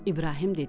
İbrahim dedi: